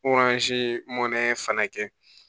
fana kɛ